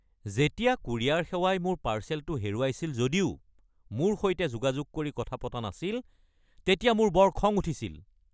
যেতিয়া কুৰিয়াৰ সেৱাই মোৰ পাৰ্চেলটো হেৰুৱাইছিল যদিও মোৰ সৈতে যোগাযোগ কৰি কথা পতা নাছিল তেতিয়া মোৰ বৰ খং উঠিছিল।